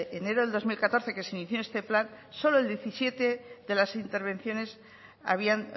enero de dos mil catorce que se inició este plan solo